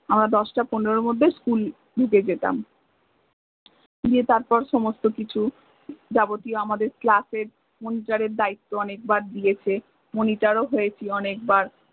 আমরা দশ্টা পনেরোর মধ্যে school ধুকে যেতাম গিয়ে তারপর সমস্ত কিছু আমাদের class এর monitor এর দায়িত্ব অনেক বার দিয়েছে monitor ও হয়েছি অনেকবার